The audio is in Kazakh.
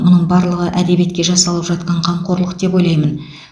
мұның барлығы әдебиетке жасалып жатқан қамқорлық деп ойлаймын